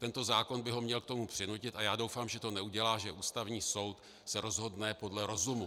Tento zákon by ho měl k tomu přinutit, a já doufám, že to neudělá, že Ústavní soud se rozhodne podle rozumu.